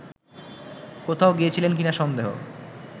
কোথাও গিয়েছিলেন কিনা সন্দেহ